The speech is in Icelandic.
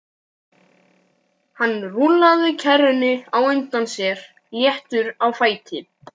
Hann rúllaði kerrunni á undan sér léttur á fæti.